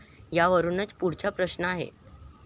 यावरुनच पुढचा प्रश्न आहे.